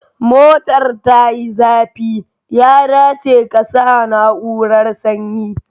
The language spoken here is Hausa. Motar tayi zafi, ya dace kasa na'urar sanyi